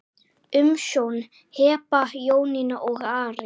Umsjón Heba, Jónína og Ari.